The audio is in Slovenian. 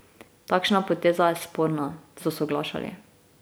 Takšna poteza je sporna, so soglašali.